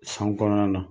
San kɔnɔna na